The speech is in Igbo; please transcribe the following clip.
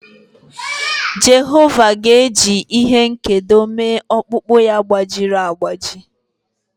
Jehova ga-eji ihe nkedo mee ọkpụkpụ ya gbajiri agbaji.